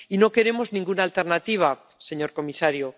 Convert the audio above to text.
Y no queremos ninguna alternativa, señor comisario.